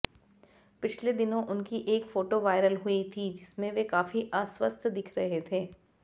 पिछले दिनों उनकी एक फोटो वायरल हुई थी जिसमें वे काफी अस्वस्थ्य दिख रहे थे